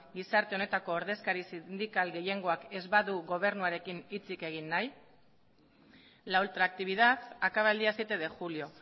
gizarte honetako ordezkari sindikal gehiengoak ez badu gobernuarekin hitzik egin nahi la ultractividad acaba el día siete de julio